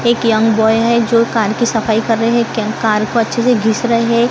एक young boy है जो कार की सफाई कर रहे है के कार को अच्छे से घीस रहे--